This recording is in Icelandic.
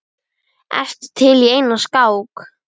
Ertu til í eina skák?